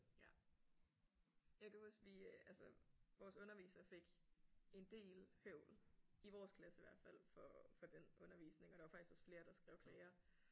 Ja jeg kan huske vi altså vores underviser fik en del høvl i vores klasse hvert faldt for for den undervisning og der var faktisk også flere der skrev klager